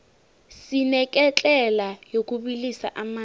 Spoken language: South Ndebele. sineketlela yokubilisa amanzi